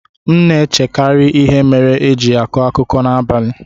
M na-echekarị ihe mere e ji na-akọ akụkọ n'abalị.